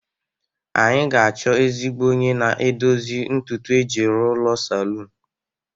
anyị ga-achọ ezigbo onye na-edozi ntutu iji rụọ ụlọ salun